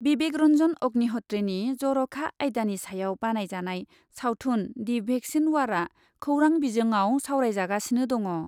बिबेक रन्जन अग्निहत्रीनि जर'खा आयदानि सायाव बानायजानाय सावथुन दि भेक्सिन वारआ खौरां बिजोङाव सावरायजागासिनो दङ।